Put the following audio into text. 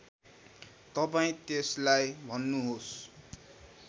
तपाईँ त्यसलाई भन्नुहोस्